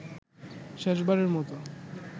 শেষবারের মতো